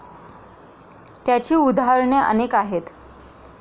त्याची उदाहरणे अनेक आहेत.